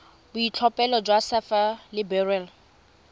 boitlhophelo jwa sapphire le beryl